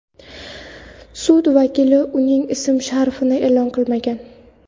Sud vakili uning ism-sharifini e’lon qilmagan.